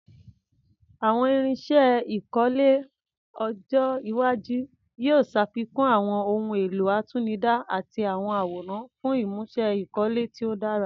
Àwọn irinṣẹ́ ìkọ́lé ọjọ́ iwájú lè ṣàfikún àwọn ohun èlò àtinúdá àti àwọn àwòrán fún ìmúṣe ìkọ́lé tí ó dára.